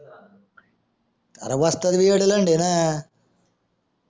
अरे वस्ताद भी येडा लंड आहे ना